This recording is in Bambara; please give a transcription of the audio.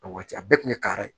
A waati a bɛɛ kun ye kari ye